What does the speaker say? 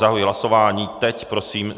Zahajuji hlasování, teď prosím.